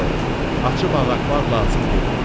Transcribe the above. Yox, açıb ağartmaq lazım deyil.